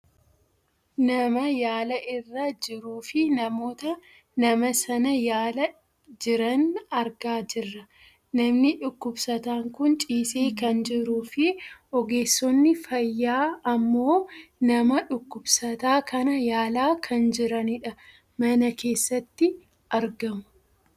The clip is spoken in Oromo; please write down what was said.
Nama yaala irra jiruufi namoota nama sana yaalaa jiran argaa jirra . Namni dhukkubsataan kun ciisee kan jiruufi ogeessonni fayyaa ammoo nama dhukkubsataa kana yaalaa kan jiranidha. Mana keesaatti argamu.